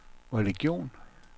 religion